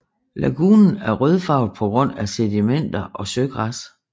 Lagunen er rødfarvet på grund af sedimenter og søgræs